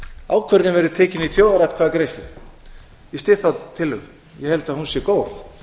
ákvörðun verði tekin í þjóðaratkvæðagreiðslu ég styð þá tillögu ég held að hún sé góð